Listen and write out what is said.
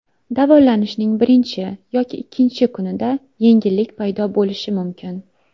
Davolanishning birinchi yoki ikkinchi kunida yengillik paydo bo‘lishi mumkin.